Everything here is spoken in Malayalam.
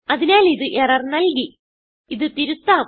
അതിനാൽ ഇത് എറർ നല്കി ഇത് തിരുത്താം